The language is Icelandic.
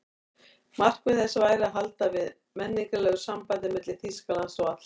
Markmið þess væri að halda við menningarlegu sambandi milli Þýskalands og allra